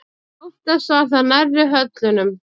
Oftast var það nærri höllunum.